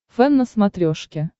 фэн на смотрешке